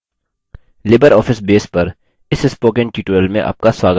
libreoffice base पर इस spoken tutorial में आपका स्वागत है